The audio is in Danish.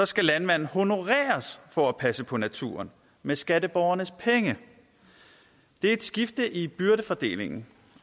skal landmanden honoreres for at passe på naturen med skatteborgernes penge det er et skifte i byrdefordelingen